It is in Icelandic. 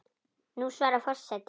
Nú svarar forseti fyrir sig.